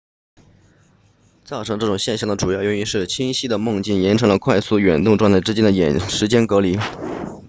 造成这种现象的主要原因是清晰的梦境延长了快速眼动状态之间的时间间隔